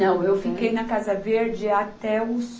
Não, eu fiquei na Casa Verde até os